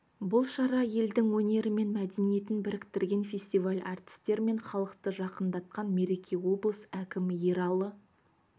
бұл шара елдің өнері мен мәдениетін біріктірген фестиваль әртістер мен халықты жақындатқан мереке облыс әкімі ералы